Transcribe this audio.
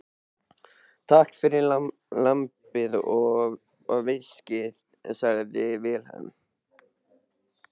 Takk fyrir lambið og viskíið, sagði Vilhelm.